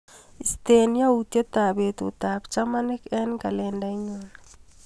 Istee yautyetap betutap chamanik eng kalendainyu.